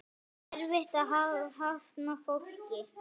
Er erfitt að hafna fólki?